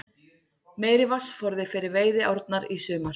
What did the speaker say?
Meiri vatnsforði fyrir veiðiárnar í sumar